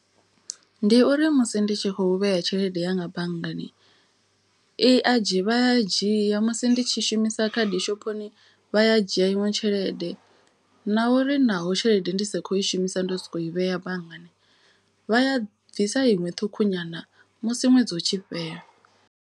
Ndi uri musi ndi tshi khou vheya tshelede yanga banngani i adzhi vha ya dzhia musi ndi tshi shumisa khadi shophoni. Vha ya dzhia iṅwe tshelede na uri naho tshelede ndi sa kho i shumisa. Ndo soko i vhea banngani vha ya bvisa iṅwe ṱhukhu nyana musi ṅwedzi utshi fhela.